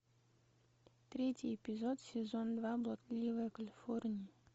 третий эпизод сезон два блудливая калифорния